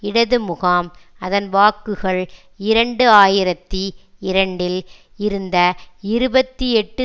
இடது முகாம் அதன் வாக்குகள் இரண்டு ஆயிரத்தி இரண்டில் இருந்த இருபத்தி எட்டு